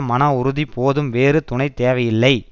மனஉறுதி போதும் வேறு துணை தேவை இல்லை